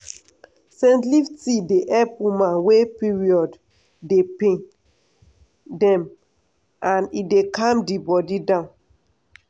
scent leaf tea dey help women wey period dey pain dem and e dey calm di body down.